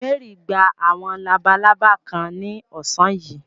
Mary gba àwọn labalábá kan ní ọ̀sán yìí.